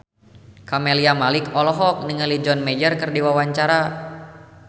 Camelia Malik olohok ningali John Mayer keur diwawancara